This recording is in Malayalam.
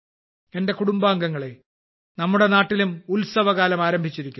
എന്റെ കുടുംബാംഗങ്ങളെ നമ്മുടെ നാട്ടിലും ഉത്സവകാലം ആരംഭിച്ചിരിക്കുന്നു